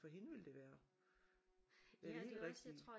For hende ville det være det helt rigtige